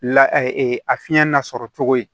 La a fiɲɛ nasɔrɔ cogo ye